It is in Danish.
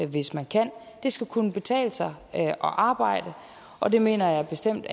hvis man kan det skal kunne betale sig at arbejde og det mener jeg bestemt